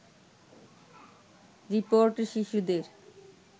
রিপোর্টে শিশুদের